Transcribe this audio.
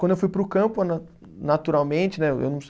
Quando eu fui para o campo na, naturalmente, né? Eu não